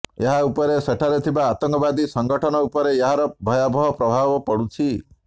ଏହା ଉପରେ ସେଠାରେ ଥିବା ଆତଙ୍କବାଦୀ ସଂଗଠନ ଉପରେ ଏହାର ଭୟାବହ ପ୍ରଭାବ ପଡୁଛି